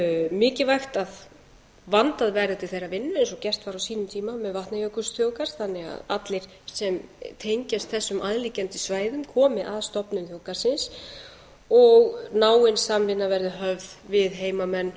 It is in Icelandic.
mikilvægt að vandað verði til þeirrar vinnu eins og gert var á sínum tíma með vatnajökulsþjóðgarð þannig að allir sem tengjast þessum aðliggjandi svæðum komi að stofnun þjóðgarðsins og náin samvinna verði höfð við heimamenn